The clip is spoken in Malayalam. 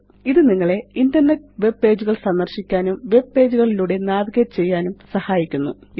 ഇത് നിങ്ങളെ ഇന്റർനെറ്റ് വെബ് പേജുകള് സന്ദര്ശിക്കാനും വെബ് പേജ് കളിലൂടെ നാവിഗേറ്റ് ചെയ്യാനും സഹായിക്കുന്നു